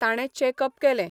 ताणे चेकप केलें.